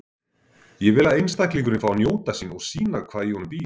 Ég vil að einstaklingurinn fái að njóta sín og sýna hvað í honum býr.